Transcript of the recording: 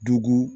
Duko